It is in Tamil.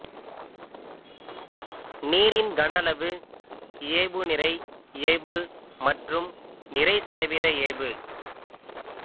நீாின் கனஅளவு இயைபு நிறை இயைபு மற்றும் நிறை சதவீத இயைபு